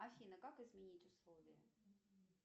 афина как изменить условия